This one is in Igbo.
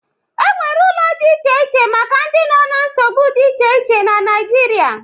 E nwere ụlọ dị iche iche maka ndị nọ na nsogbu dị iche iche na Naịjirịa.